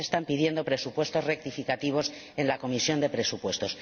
Y ya se están pidiendo presupuestos rectificativos en la Comisión de Presupuestos.